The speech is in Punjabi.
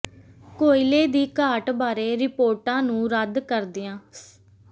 ਕੋਇਲੇ ਦੀ ਘਾਟ ਬਾਰੇ ਰਿਪੋਰਟਾਂ ਨੂੰ ਰੱਦ ਕਰਦਿਆਂ ਸ